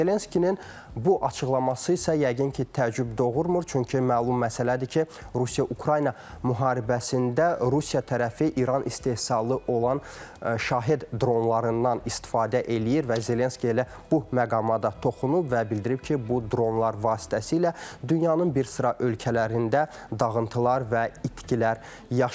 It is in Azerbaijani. Zelenskini bu açıqlaması isə yəqin ki, təəccüb doğurmur, çünki məlum məsələdir ki, Rusiya-Ukrayna müharibəsində Rusiya tərəfi İran istehsalı olan şahid dronlarından istifadə eləyir və Zelenski elə bu məqama da toxunub və bildirib ki, bu dronlar vasitəsilə dünyanın bir sıra ölkələrində dağıntılar və itkilər yaşanır.